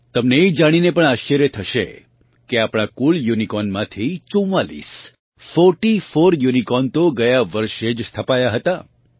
તમને એ જાણીને પણ આશ્ચર્ય થશે કે આપણાં કુલ યુનિકોર્નમાંથી 44 ફોર્ટીફોર યુનિકોર્ન તો ગયા વર્ષે જ સ્થપાયા હતાં